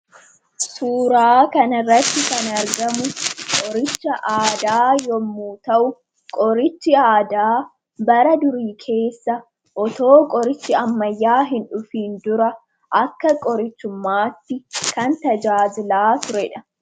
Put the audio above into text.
suuraa kana irratti kan argamu qoricha aadaa yemmyu ta'u qorichi aadaa bara durii keessa osoo qorichi ammayyaa hin dhufin dura akka qorichummaatti kan tajaajilaa turedha.